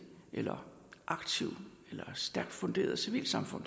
eller aktivt eller stærkt funderet civilsamfund